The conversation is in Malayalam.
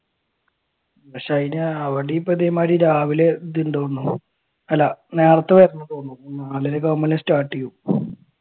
പക്ഷെ അതിന് അവിടെ ഇതേമാതിരി രാവിലെ അല്ല നേരത്തെ വരണോന്ന് തോന്നണു നാലര ഒക്കെ ആകുമ്പോൾ തന്നെ start ചെയ്യും.